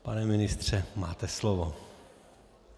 Pane ministře, máte slovo.